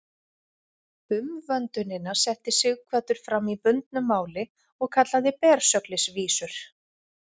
Umvöndunina setti Sighvatur fram í bundnu máli og kallaði Bersöglisvísur.